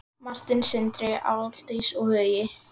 Martin, Sindri, Aldís og Hugi.